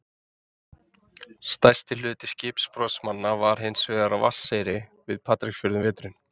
Stærsti hluti skipbrotsmanna var hins vegar á Vatneyri við Patreksfjörð um veturinn.